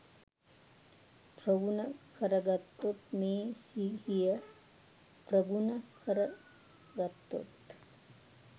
ප්‍රගුණ කරගත්තොත් මේ සිහිය ප්‍රගුණ කරගත්තොත්